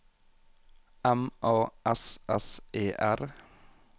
M A S S E R